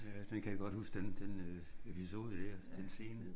Ja den kan jeg godt huske den den øh episode der. Den scene